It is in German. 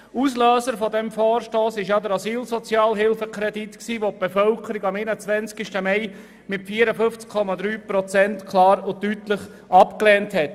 Auslöser für diesen Vor stoss war der Asylsozialhilfekredit, den die Bevölkerung am 21. Mai mit 54,3 Prozent klar und deutlich abgelehnt hat.